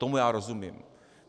Tomu já rozumím.